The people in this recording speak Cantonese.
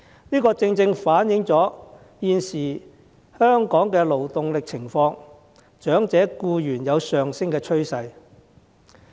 這正正反映香港現時的勞動力情況，長者僱員有上升的趨勢。